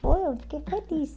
Foi, eu fiquei feliz.